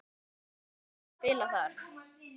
Ertu eitthvað að spila þar?